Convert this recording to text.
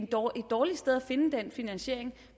dårligt sted at finde den finansiering